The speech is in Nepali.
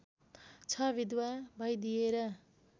छ विधवा भइदिएर